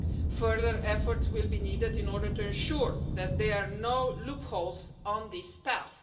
Further efforts will be needed in order to ensure that there are no loopholes on this path.